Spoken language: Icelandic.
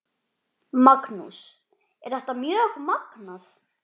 Magnús: Er þetta mjög magnað?